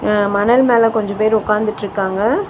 அ மணல்மேல கொஞ்ச பேர் உக்காந்துட்ருக்காங்க.